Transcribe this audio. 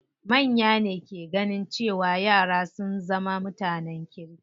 Manya ne ke ganin cewa yara sun zama mutanen kirki.